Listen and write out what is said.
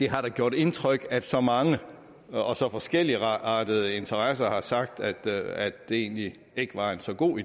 har gjort indtryk at så mange og så forskelligartede interessenter har sagt at det egentlig ikke var så god